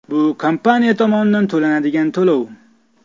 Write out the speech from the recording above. Bu kompaniya tomonidan to‘lanadigan to‘lov.